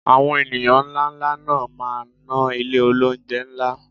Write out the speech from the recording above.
Àwọn ènìyàn ńláńlá náà máa ná ilé olóunjẹ ńlá